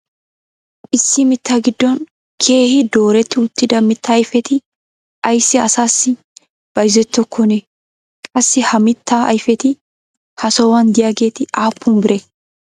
issi mitaa giddon keehi dooretti uttida mitaa ayfetti ayssi asaassi bayzzettokkonaa? qassi ha mitaa ayfetti ha sohuwan diyaageeti aappun biree?